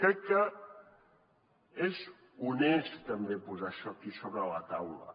crec que és honest també posar això aquí sobre la taula